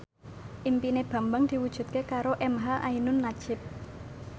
impine Bambang diwujudke karo emha ainun nadjib